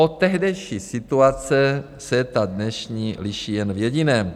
Od tehdejší situace se ta dnešní liší jen v jediném.